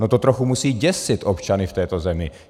No to trochu musí děsit občany v této zemi.